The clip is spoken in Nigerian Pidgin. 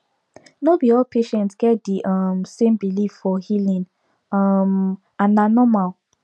no be all patients get the um same belief for healing um and na normal